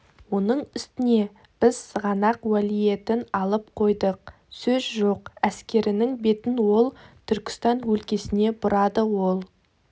оның үстіне біз сығанақ уәлиетін алып қойдық сөз жоқ әскерінің бетін ол түркістан өлкесіне бұрады ол